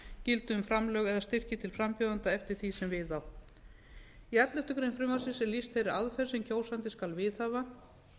gildi um framlög eða styrki til frambjóðenda eftir því sem við á í elleftu greinar frumvarpsins er lýst þeirri aðferð sem kjósandi skal viðhafa